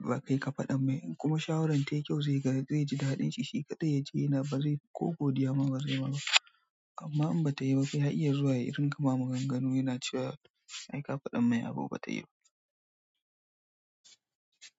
ba kai ka faɗa mai. In kuma shawaran tayi kyau zai ga zai ji daɗin shi shi kaɗai ya ji yana ba zai ko godiya ma ba zai ma ba. Amma in bata yi ba, ya iya zuwa ya rinƙa ma maganganu yana cewa ai ka faɗa mai abun bata yi ba.